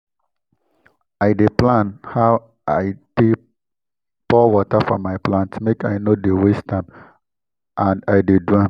i dey plan how i dey pour water for my plant make i no dey waste am and i dey do am